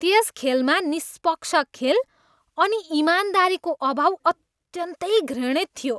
त्यस खेलमा निष्पक्ष खेल अनि इमानदारीको अभाव अत्यन्तै घृणित थियो।